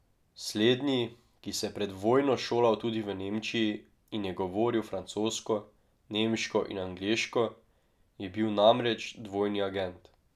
Slednji, ki se je pred vojno šolal tudi v Nemčiji in je govoril francosko, nemško in angleško, je bil namreč dvojni agent.